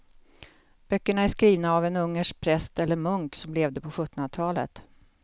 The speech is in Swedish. Böckerna är skrivna av en ungersk präst eller munk som levde på sjuttonhundratalet.